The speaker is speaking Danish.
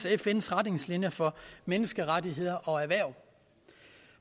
fns retningslinjer for menneskerettigheder og erhverv